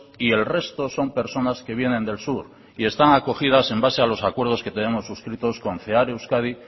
y el resto son personas que vienen del sur y están acogidas en base a los acuerdos que tenemos suscritos con cear euskadi